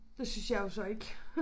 Det synes jeg jo så ikke